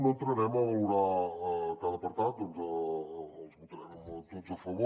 no entrarem a valorar cada apartat perquè els votarem tots a favor